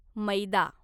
मैदा